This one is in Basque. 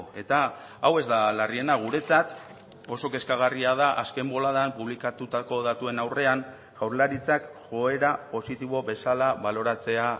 eta hau ez da larriena guretzat oso kezkagarria da azken boladan publikatutako datuen aurrean jaurlaritzak joera positibo bezala baloratzea